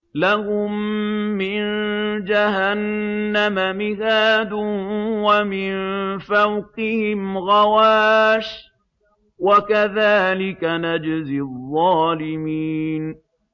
لَهُم مِّن جَهَنَّمَ مِهَادٌ وَمِن فَوْقِهِمْ غَوَاشٍ ۚ وَكَذَٰلِكَ نَجْزِي الظَّالِمِينَ